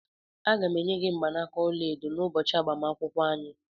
Aga m-enye gị mgbanaka ọla edo n'ụbọchị agbamakwụkwọ anyị.